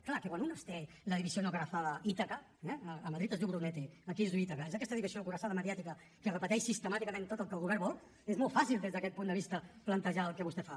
clar que quan un té la división acorazada es diu brunete aquí es diu ítaca és aquesta divisió cuirassada mediàtica que repeteix sistemàticament tot el que el govern vol és molt fàcil des d’aquest punt de vista plantejar el que vostè fa